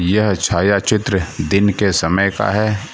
यह छायाचित्र दिन के समय का है।